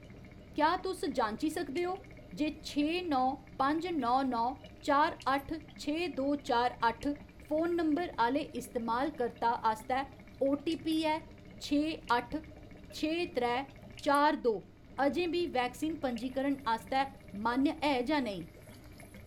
क्या तुस जांची सकदे ओ जे छे नौ पंज नौ नौ चार अट्ठ छे दो चार अट्ठ फोन नंबर आह्‌ले इस्तेमालकर्ता आस्तै ओटीपी ऐ छे अट्ठ छे त्रै चार दो अजें बी वैक्सीन पंजीकरण आस्तै मान्य ऐ जां नेईं ?